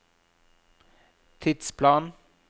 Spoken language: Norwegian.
tidsplan